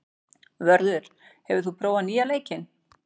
Vörður, hefur þú prófað nýja leikinn?